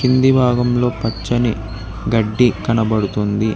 కింది భాగంలో పచ్చని గడ్డి కనబడుతుంది.